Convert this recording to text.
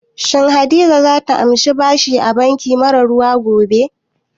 Shin Hadiza za ta amshi bashi a banki mara ruwa gobe?